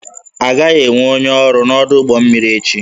Agaghị enwe onye ọrụ n'ọdụ ụgbọ mmiri echi